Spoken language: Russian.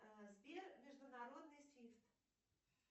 сбер международный свифт